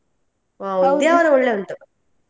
Udyavara ಒಳ್ಳೆ ಉಂಟು.